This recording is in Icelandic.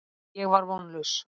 Ég var vonlaus.